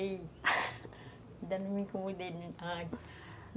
De ir, ainda não me incomodei.